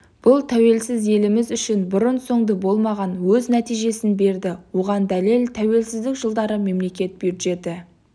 бұл тәуелсіз еліміз үшін бұрын-соңды болмаған өз нәтижесін берді оған дәлел тәуелсіздік жылдары мемлекет бюджеті